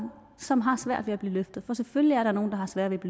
som har svært ved at blive løftet for selvfølgelig er der nogle der har sværere ved at